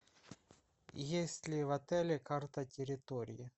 есть ли в отеле карта территории